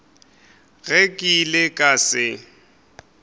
ge ke ile ka se